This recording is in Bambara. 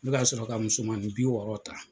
Ne ka sɔrɔ ka musomanin bi wɔɔrɔ ta.